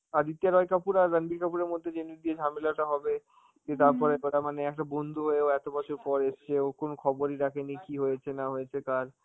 আদিত্য রয় কাপুর আর রাণবীর কাপুরের মধ্যে যে দিয়ে ঝামেলাটা হবে, যে তারপরে তো তার মানে একটা বন্ধু হয়েও এত বছর পর এসছে, ও কোন খবরই রাখিনি কি হয়েছে না হয়েছে কার.